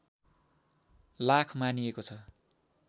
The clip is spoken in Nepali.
लाख मानिएको छ